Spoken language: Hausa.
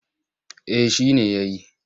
Eh shi ne ya yi.